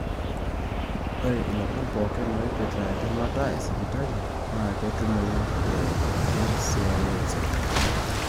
ore ilomon pooki opirta entemata esipitali na ketumoyu te NCI website.